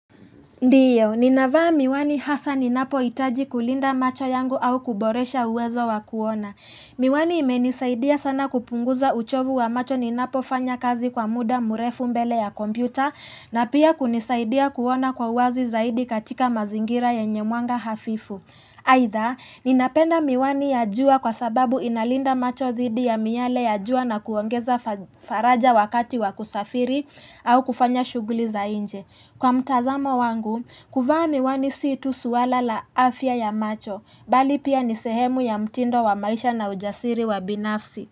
Ndiyo, ninavaa miwani hasa ninapo itaji kulinda macho yangu au kuboresha uwezo wakuona. Miwani imenisaidia sana kupunguza uchovu wa macho ninapo fanya kazi kwa muda murefu mbele ya kompyuta na pia kunisaidia kuona kwa uwazi zaidi katika mazingira yenye mwanga hafifu. Aitha, ninapenda miwani ya jua kwa sababu inalinda macho thidi ya miyale ya jua na kuongeza faraja wakati wakusafiri au kufanya shuguli za inje. Kwa mtazamo wangu, kuvaa miwani si tu suwala la afya ya macho, bali pia nisehemu ya mtindo wa maisha na ujasiri wa binafsi.